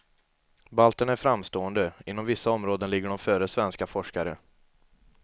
Balterna är framstående, inom vissa områden ligger de före svenska forskare.